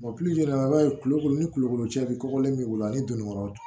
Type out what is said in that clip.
i b'a ye kulo ni kulukoro cɛ bɛ kɔkɔlen b'i bolo ani donnikɔrɔ